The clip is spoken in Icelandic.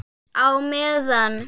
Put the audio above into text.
Á meðan